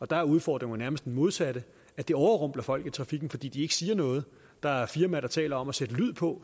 der er udfordringen nærmest det modsatte det overrumpler folk i trafikken fordi ikke siger noget der er firmaer der taler om at sætte lyd på